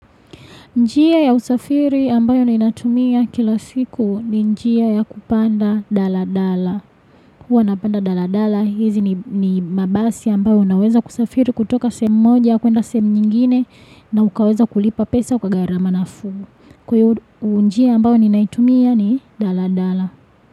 Njia ya usafiri ambayo nainatumia kila siku ni njia ya kupanda Dala Dala. Huwa na panda Dala Dala, hizi ni mabasi ambayo naweza kusafiri kutoka sehemu moja, kuenda sehemu nyingine, na ukaweza kulipa pesa kwa gharama nafuu. Kwa njia ambayo na inatumia ni Dala Dala.